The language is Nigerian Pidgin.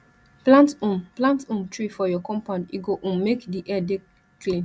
plant um plant um tree for your compound e go um make di air dey clean